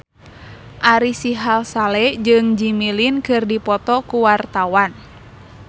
Ari Sihasale jeung Jimmy Lin keur dipoto ku wartawan